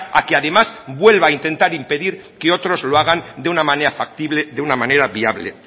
a que además vuelva a intentar impedir que otros lo hagan de una manera factible de una manera viable